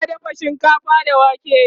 tana dafa shinkafa da wake